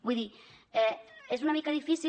vull dir és una mica difícil